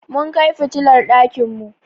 Mun kai fitilar ɗakin mu.